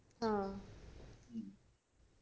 ആഹ്